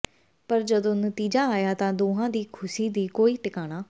ਪਰ ਜਦੋਂ ਨਤੀਜਾ ਆਇਆ ਤਾਂ ਦੋਹਾਂ ਦੀ ਖੁਸੀ ਦਾ ਕੋਈ ਟਿਕਾਣਾ